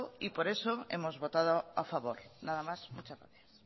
y por eso hemos votado a favor nada más muchas gracias